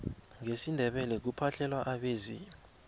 ngesindebele kuphahlelwa abezimu